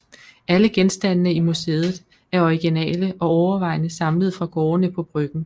Alle genstandene i museet er originale og overvejende samlet fra gårdene på Bryggen